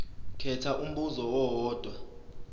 khetha umbuzo owodwa